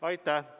Aitäh!